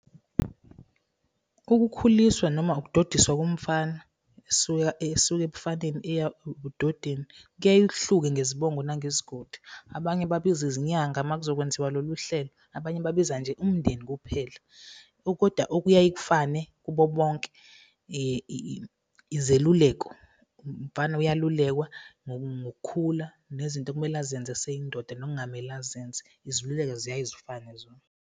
Ukukhuliswa noma ukudodiswa komfana esuka ebufaneni eya ebudodeni kuyaye kuhluke ngezibongo nangezigodi. Abanye babiza izinyanga uma kuzokwenziwa lolu hlelo, abanye babiza nje umndeni kuphela koda okuyaye kufane kubo bonke izeluleko, umfana uyalulekwa ngokukhula nezinto ekumele azenze eseyindoda nokungamele azenze, izeluleko ziyaye zifane zona.